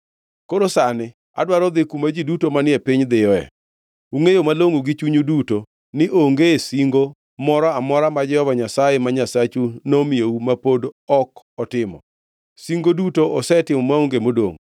“Koro sani adwaro dhi kuma ji duto manie piny dhiyoe. Ungʼeyo malongʼo gi chunyu duto ni onge singo moro amora ma Jehova Nyasaye ma Nyasachu nomiyou ma pod ok otimo. Singo duto osetimo maonge modongʼ.